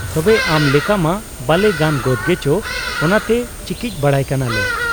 ᱛᱚᱵᱮ ᱟᱢᱞᱮᱠᱟᱢᱟ ᱵᱟᱞᱮ ᱜᱟᱱ ᱜᱚᱫᱽ ᱜᱮᱪᱚ ᱚᱱᱟᱛᱮ ᱪᱤᱠᱤᱡ ᱵᱟᱲᱟᱭ ᱠᱟᱱᱟᱞᱮ ᱾